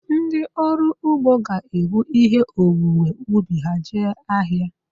Ndịọrụugbo ga-ebu ihe owuwe ubi ha jee ahịa